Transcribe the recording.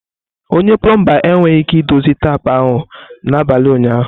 Onye plomba enweghị ike idozi tapu ahụ n'abalị ụnyaahụ.